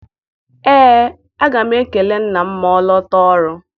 Ee, aga m ekele nna m ma ọ lọta ọrụ.